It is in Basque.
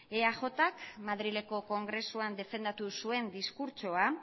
eaj k madrileko kongresuan defendatu zuen diskurtsoa